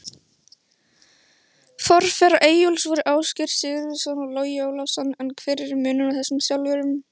Forverar Eyjólfs voru Ásgeir Sigurvinsson og Logi Ólafsson, en hver er munurinn á þessum þjálfurum?